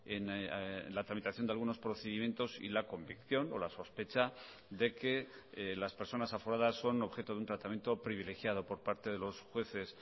en la tramitación de algunos procedimientos y la convicción o la sospecha de que las personas aforadas son objeto de un tratamiento privilegiado por parte de los jueces